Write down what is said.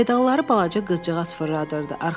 Pedalları balaca qızcığaz fırladırdı.